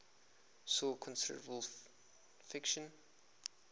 saw considerable friction